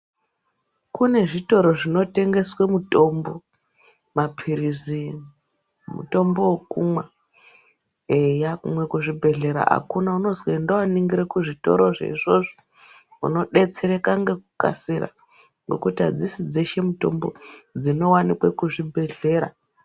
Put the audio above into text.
Kunezvitoro zvinotengeswe mutombo, maphirizi, mutombo wokumwa, eya, kumwe kuzvibhedhlera akuna, unozi ndoningira kuzvitoro zvezvozvo, unodetsereka ngekukasira, nokuti adzishi dzeshe mutombo dzinowanikwe kuzvibhedhlera.